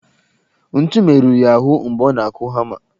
Ntu merụrụ ya ahụ mgbe ọ na-akụ hama